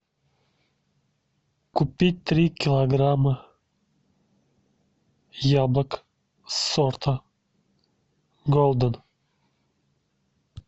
купить три килограмма яблок сорта голден